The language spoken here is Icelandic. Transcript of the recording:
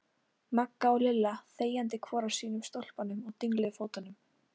Magga og Lilla þegjandi hvor á sínum stólpanum og dingluðu fótunum.